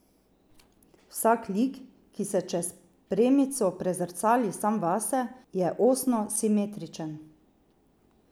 Vsak lik, ki se čez premico prezrcali sam vase, je osno simetričen.